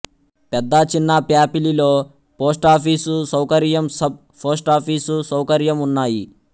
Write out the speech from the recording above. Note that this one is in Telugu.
పెద్ద చిన్నప్యాపిలిలో పోస్టాఫీసు సౌకర్యం సబ్ పోస్టాఫీసు సౌకర్యం ఉన్నాయి